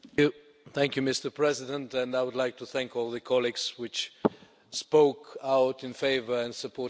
Mr President, I would like to thank all my colleagues who spoke out in favour of supporting the report.